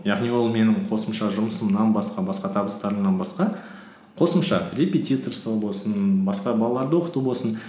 яғни ол менің қосымша жұмысымнан басқа басқа табыстарымнан басқа қосымша репетиторство болсын басқа балаларды оқыту болсын